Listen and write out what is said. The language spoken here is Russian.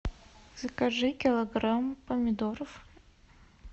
закажи килограмм помидоров